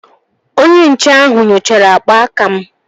Onye nche ahụ nyochara akpa aka m